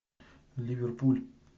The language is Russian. ливерпуль